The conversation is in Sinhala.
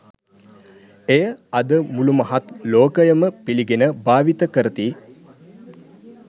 එය අද මුලු මහත් ලෝකයම පිලිගෙන භාවිතා කරති.